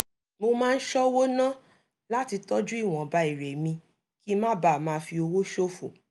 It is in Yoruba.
mo máa ń ṣọ́wó ná láti tọ́jú ìwọnba èrè mi kí n má bàa máa fi owó ṣòfò